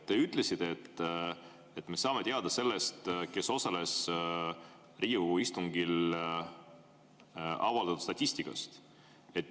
Te ütlesite, et selle kohta, kes osales Riigikogu istungil, me saame teada avaldatud statistikast.